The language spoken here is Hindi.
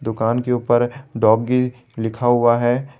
दुकान के ऊपर डॉगी लिखा हुआ है।